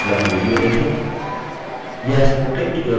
निम्न link पर उपलब्ध video देखें